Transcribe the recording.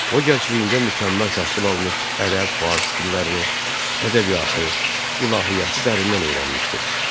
O, gəncliyində mükəmməl təhsil almış, ərəb, fars dillərini, ədəbiyyatı, ilahiyyatı dərindən öyrənməşdi.